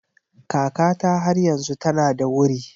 Kakata har yanzu tana da wuri.